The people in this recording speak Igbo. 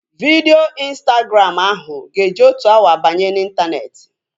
Vidio Instagram ahu ga-eji otu awa banye n'intaneeti